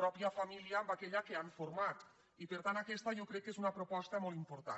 pròpia família amb aquella que han format i per tant aquesta jo crec que és una proposta molt important